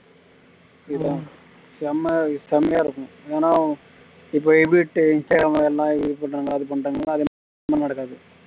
செம்ம செம்மயா இருக்கும் ஆனா இப்ப